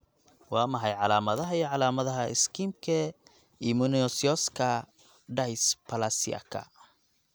Waa maxay calaamadaha iyo calaamadaha Schimke immunosseouska dysplasiaka?